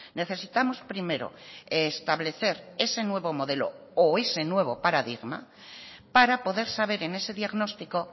necesitamos primero establecer ese nuevo modelo o ese nuevo paradigma para poder saber en ese diagnóstico